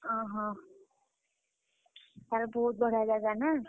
ଓହୋଃ, ତାହେଲେ ବହୁତ ବଢିଆ ଜାଗା ନା?